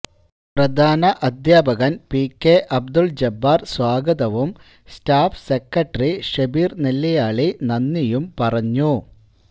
പ്രധാന അധ്യാപകന് P K Abdul Jabbar സ്വാഗതവും സ്റ്റാഫ് സെക്രട്ടറി ഷെബീര് നെല്ലിയാളി നന്ദിയും പറഞ്ഞു